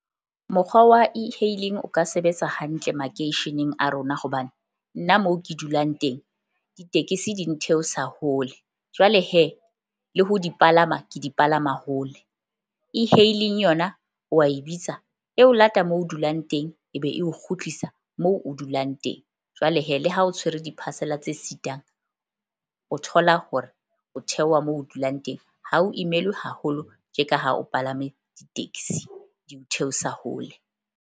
Mokgwa wa E-hailing o ka sebetsa hantle makeisheneng a rona hobane nna mo ke dulang teng ditekesi di ntheosa hole. Jwale le ho di palama ke di palama hole. E-hailing yona wa e bitsa e o lata moo o dulang teng, ebe eo kgutlisa moo o dulang teng. Jwale le ha o tshwere di-parcel-a tse sitang, o thola hore o theoha moo o dulang teng ha o imelwe haholo tje ka ha o palame di-taxi di o theosa hole.